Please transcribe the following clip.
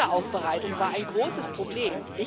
Wiederaufbereitung war ein großes Problem.